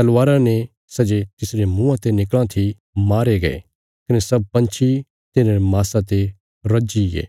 तलवारा ने सै जे तिसरे मुँआं ते निकल़ां थी मारे गये कने सब पंछी तिन्हांरे माँसा ते रज्जीगे